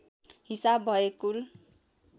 हिसाब भए कुल